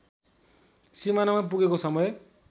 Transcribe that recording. सिमानामा पुगेको समय